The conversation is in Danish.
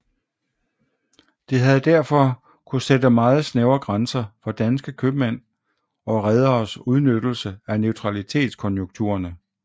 Det havde derfor kunne sætte meget snævre grænser for danske købmænd og rederes udnyttelse af neutralitetskonjunkturerne